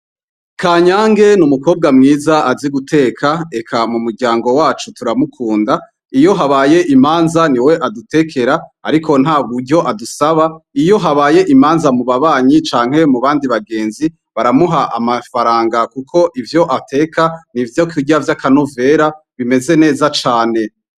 Kanyange n'umukobwa mwiza azi guteka eka mumuryango wacu turamukunda, iyo habaye imanza niwe adutekera ariko nta buryo adusaba, iyo habaye imanza mu babanyi canke mubandi bagenzi baramuha amafaranga kuko ivyo ateka n'ivyokurya vya kanovera bimeze neza cane.